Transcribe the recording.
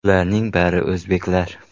Ularning bari o‘zbeklar.